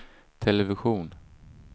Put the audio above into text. television